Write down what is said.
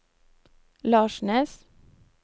Larsnes